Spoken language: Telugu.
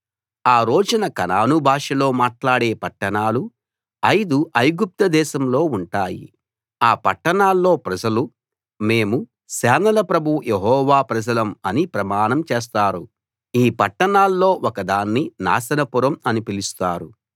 ఆ రోజున కనాను భాషలో మాట్లాడే పట్టణాలు ఐదు ఐగుప్తు దేశంలో ఉంటాయి ఆ పట్టణాల్లో ప్రజలు మేము సేనల ప్రభువు యెహోవా ప్రజలం అని ప్రమాణం చేస్తారు ఈ పట్టణాల్లో ఒక దాన్ని నాశనపురం అని పిలుస్తారు